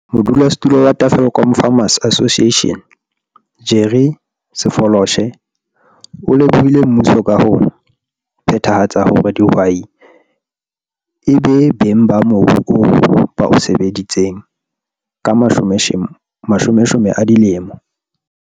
Modulosetulo wa Tafelkop Farmers Association, Jerry Sefoloshe, o lebohile mmuso ka ho phethahatsa hore dihwai e be beng ba mobu oo ba o sebeditseng ka mashomeshome a dilemo.